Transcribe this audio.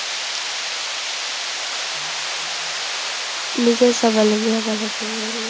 নিজে স্বাৱলম্বী হ'ব লাগে।